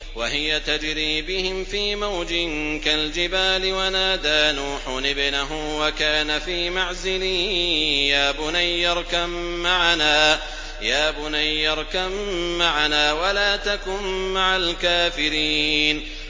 وَهِيَ تَجْرِي بِهِمْ فِي مَوْجٍ كَالْجِبَالِ وَنَادَىٰ نُوحٌ ابْنَهُ وَكَانَ فِي مَعْزِلٍ يَا بُنَيَّ ارْكَب مَّعَنَا وَلَا تَكُن مَّعَ الْكَافِرِينَ